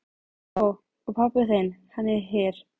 Ó. Og pabbi þinn, hann er hér?